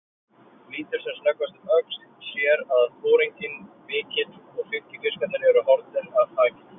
Lítur sem snöggvast um öxl, sér að foringinn mikli og fylgifiskarnir eru horfnir af þakinu.